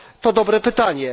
To dobre pytanie.